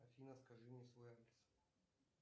афина скажи мне свой адрес